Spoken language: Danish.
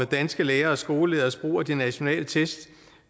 danske lærere og skolelederes brug af de nationale test